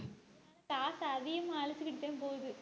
காசை அதிகமா அலுத்துக்கிட்டுதான் போகுது